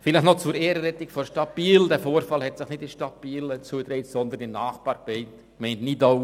Vielleicht noch zur Ehrenrettung der Stadt Biel: Der Vorfall hat sich nicht in der Stadt Biel zugetragen, sondern in der Nachbargemeinde Nidau.